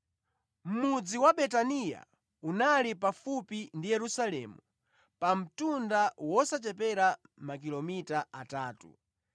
Mudzi wa Betaniya unali pafupi ndi Yerusalemu pa mtunda wosachepera makilomita atatu,